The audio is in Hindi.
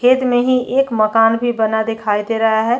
खेत में ही एक मकान भी बना दिखाई दे रहा है।